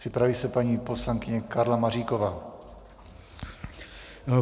Připraví se paní poslankyně Karla Maříková.